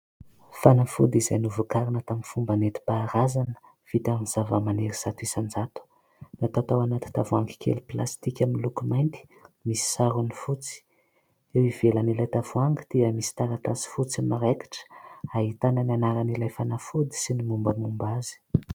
Fanafody izay novokarina tamin'ny fomba netim-paharazana vita amin'ny zava-maniry zato isan-jato, natao tao anaty tavoahangy kely plastika miloko mainty misy sarony fotsy. Eo ivelan'ilay tavoahangy dia misy taratasy fotsy maraikitra ahitana ny anaran'ilay fanafody sy ny mombamomba azy.